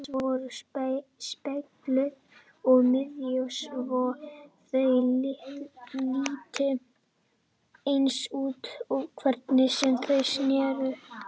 Mannspil hans voru spegluð um miðju svo þau litu eins út hvernig sem þau sneru.